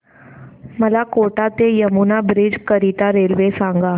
मला कोटा ते यमुना ब्रिज करीता रेल्वे सांगा